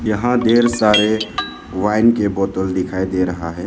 यहां ढेर सारे वाइन के बोतल दिखाई दे रहा है।